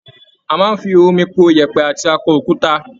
A máa ń fi omi po ìyẹ̀pẹ̀ àti akọ-okuta.